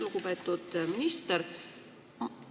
Lugupeetud minister!